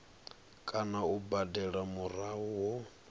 kana u badela murahu ho